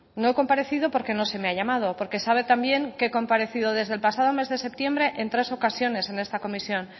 no he comparecido porque no se me ha llamado porque sabe también que he comparecido desde el pasado mes de septiembre en tres ocasiones en esta comisión